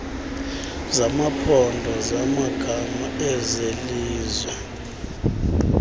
zamaphondo zamagama ezelizwe